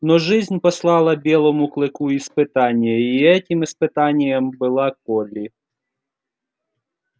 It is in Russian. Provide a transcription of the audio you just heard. но жизнь послала белому клыку испытание и этим испытанием была колли